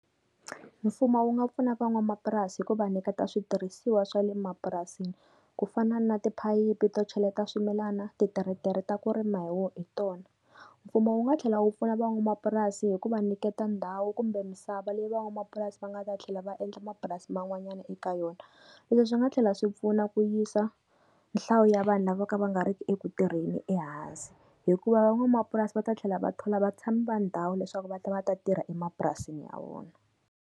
Mfumo wu nga pfuna van'wamapurasi ku va nyiketa switirhisiwa swa le mapurasini, ku fana na tiphayiphi to cheleta swimilana, tiretere ta ku rima hi wo hi tona. Mfumo wu nga tlhela wu pfuna van'wamapurasi hi ku va nyiketa ndhawu kumbe misava leyi van'wamapurasi va nga ta tlhela va endla mapurasi man'wanyana eka yona. Leswi swi nga tlhela swi pfuna ku yisa nhlayo ya vanhu lava vo ka va nga ri ki eku tirheni ehansi. Hikuva van'wamapurasi va ta tlhela va thola vatshami va ndhawu leswaku va ta va ta tirha emapurasini ya vona.